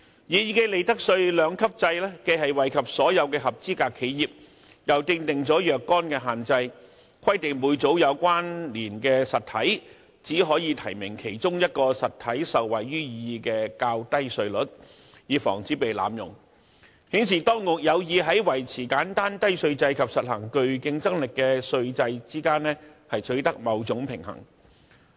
擬議的利得稅兩級制既惠及所有合資格企業，又訂定了若干限制，規定每組"有關連實體"只可以提名其中一個受惠於擬議的較低稅率，以防止此減稅措施被濫用，顯示當局有意在維持簡單低稅制及實行具競爭力的稅制之間取得某種平衡。